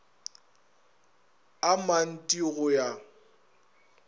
a mant i go ya